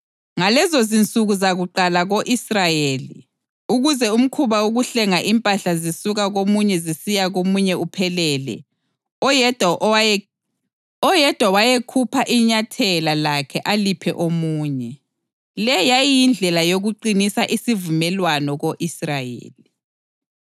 (Ngalezonsuku zakuqala ko-Israyeli, ukuze umkhuba wokuhlenga impahla zisuka komunye zisiya komunye uphelele, oyedwa wayekhupha inyathela lakhe aliphe omunye. Le yayiyindlela yokuqinisa isivumelwano ko-Israyeli.)